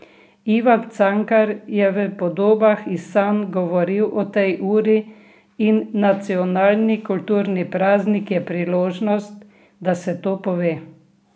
Ivan Cankar je v Podobah iz sanj govoril o tej uri in nacionalni kulturni praznik je priložnost, da se to pove.